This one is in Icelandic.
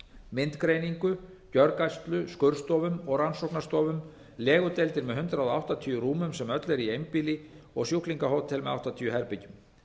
myndgreiningu gjörgæslu skurðstofum og rannsóknarstofum legudeildir með hundrað áttatíu rúmum sem öll eru í einbýli og sjúklingahótel með áttatíu herbergjum